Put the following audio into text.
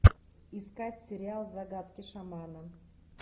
искать сериал загадки шамана